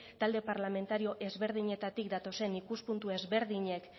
talde parlamentario ezberdinetatik datozen ikuspuntu ezberdinak